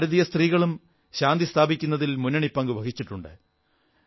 ഭാരതീയ സ്ത്രീകളും ശാന്തി സ്ഥാപിക്കുന്നതിൽ മുന്നണി പങ്കു വഹിച്ചിട്ടുണ്ട്